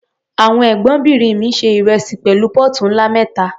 Àwọn Ẹ̀gbọ́nbìnrin mi se ìrẹsì pẹ̀lú póòtù ńlá mẹ́ta.